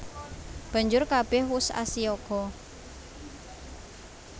Banjur kabèh wus asiyaga